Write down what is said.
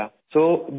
تو 2017